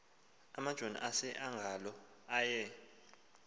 amajoni aseangola aye